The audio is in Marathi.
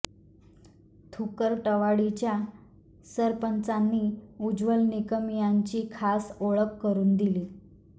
थुकरटवाडीच्या सरपंचांनी उज्ज्वल निकम यांची खास ओळख करून दिली